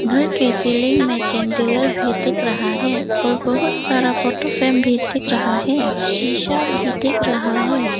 घर के सीलिंग मे भी देख रहा है और बहोत सारा फोटो फ्रेम भी दिख रहा है शिशा भी दिख रहा है।